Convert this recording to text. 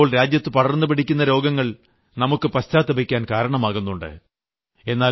ചിലപ്പോൾ രാജ്യത്ത് പടർന്നുപിടിക്കുന്ന രോഗങ്ങൾ നമുക്ക് പശ്ചാത്തപിക്കാൻ കാരണമാകുന്നുണ്ട്